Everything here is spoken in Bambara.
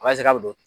A b'a se k'a bɛ don